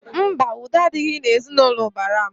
Mba, udo adịghị n'ezinaụlọ ụbara m